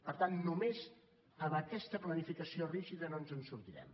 per tant només amb aquesta planificació rígida no ens en sortirem